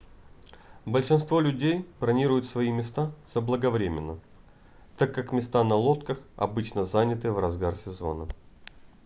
большинство людей бронируют свои места заблаговременно так как места на лодках обычно заняты в разгар сезона